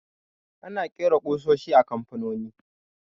Ana ƙera ƙusoshi a kamfanoni